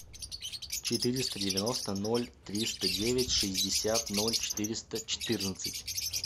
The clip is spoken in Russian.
четыреста девяносто ноль триста девять шестьдесят ноль четыреста четырнадцать